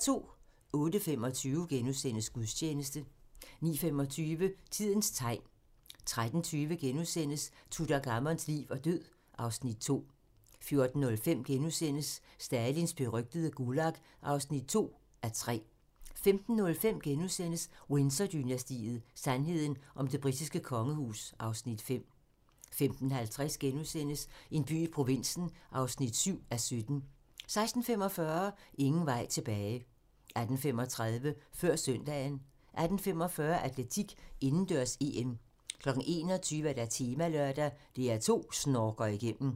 08:25: Gudstjeneste * 09:25: Tidens tegn 13:20: Tutankhamons liv og død (Afs. 2)* 14:05: Stalins berygtede Gulag (2:3)* 15:05: Windsor-dynastiet: Sandheden om det britiske kongehus (Afs. 5)* 15:50: En by i provinsen (7:17)* 16:45: Ingen vej tilbage 18:35: Før søndagen 18:45: Atletik: Indendørs-EM 21:00: Temalørdag: DR2 snorker igennem